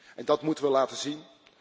En dat moeten we laten zien.